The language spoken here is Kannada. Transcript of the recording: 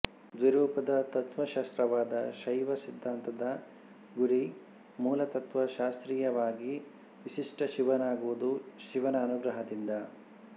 ದ್ವಿರೂಪದ ತತ್ವಶಾಸ್ತ್ರವಾದ ಶೈವ ಸಿದ್ಧಾಂತದ ಗುರಿ ಮೂಲತತ್ವಶಾಸ್ತ್ರೀಯವಾಗಿ ವಿಶಿಷ್ಟ ಶಿವನಾಗುವುದು ಶಿವನ ಅನುಗ್ರಹದಿಂದ